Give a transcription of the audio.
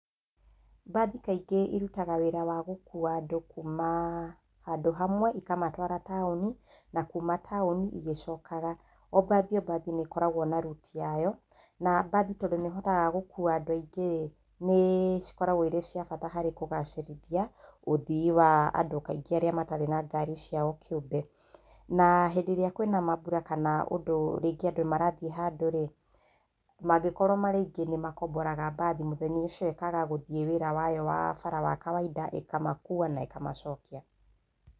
Mbathi kaingĩ irutaga wĩra wa gũkuwa andũ kuuma handũ hamwe, ikamatwara taũni, na kuuna taũni, igĩcokaga. O mbathi o mbathi nĩ ĩkoragwo na ruti yayo, na mbathi tondũ nĩ ĩhotaga gũkuwa andũ aingĩ rĩ, nĩ cikoragwo cirĩ cia bata harĩ kũgacĩrithia ũthii wa andũ kaingĩ arĩa matarĩ na ngari ciao kĩũmbe. Na hĩndĩ ĩrĩa kwĩna maambũra kana andũ marathiĩ handũ rĩ, mangĩkorwo marĩ aingĩ nĩ makomboraga mbathi mũthenya ũcio ĩkaga gũthiĩ wĩra wayo wa bara wa kawainda, ĩkamakuwa na ĩkamacokia.